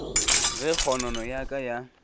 ge kgonono ya ka ya